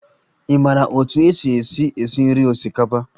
Ị maara otú e si esi esi nri osikapa?